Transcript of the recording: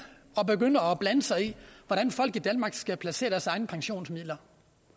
og begynder at blande sig i hvordan folk i danmark skal placere deres egne pensionsmidler